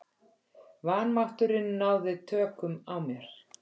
Vanmátturinn náði tökum á mér.